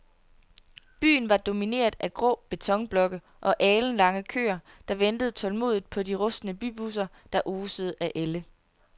Byen var domineret af grå betonblokke og alenlange køer, der ventede tålmodigt på de rustne bybusser, der osede af ælde.